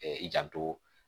i janto